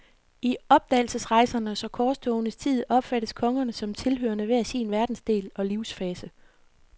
I opdagelsesrejsernes og korstogenes tid opfattes kongerne som tilhørende hver sin verdensdel og livsfase.